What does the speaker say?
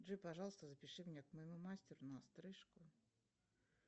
джой пожалуйста запиши меня к моему мастеру на стрижку